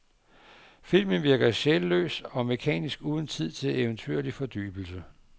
Filmen virker sjælløs og mekanisk uden tid til eventyrlig fordybelse.